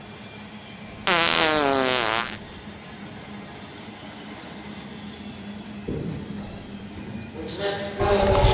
Domnule Președinte, stimați deputați, stimați colegi, bună ziua, mă bucur foarte mult să fiu astăzi din nou alături de dumneavoastră în plenară.